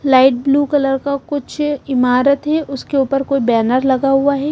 Light blue colour का कुछ इमारत है उसके ऊपर कोई बैनर लगा हुआ है।